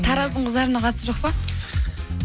тараздың қыздарына қатысы жоқ па